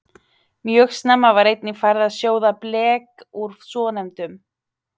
Mjög snemma var einnig farið að sjóða blek úr svonefndum